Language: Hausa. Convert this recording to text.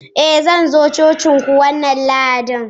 i, Zan zo cocinku wannan Lahadin